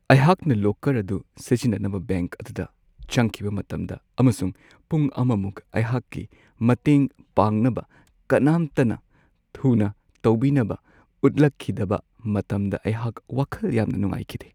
ꯑꯩꯍꯥꯛꯅ ꯂꯣꯀꯔ ꯑꯗꯨ ꯁꯤꯖꯤꯟꯅꯅꯕ ꯕꯦꯡꯛ ꯑꯗꯨꯗ ꯆꯪꯈꯤꯕ ꯃꯇꯝꯗ ꯑꯃꯁꯨꯡ ꯄꯨꯡ ꯑꯃꯃꯨꯛ ꯑꯩꯍꯥꯛꯀꯤ ꯃꯇꯦꯡ ꯄꯥꯡꯅꯕ ꯀꯅꯥꯝꯇꯅ ꯊꯨꯅ ꯇꯧꯕꯤꯅꯕ ꯎꯠꯂꯛꯈꯤꯗꯕ ꯃꯇꯝꯗ ꯑꯩꯍꯥꯛ ꯋꯥꯈꯜ ꯌꯥꯝꯅ ꯅꯨꯡꯉꯥꯏꯈꯤꯗꯦ ꯫